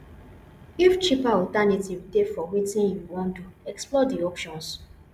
if cheaper alternatives dey for wetin you wan do explore di options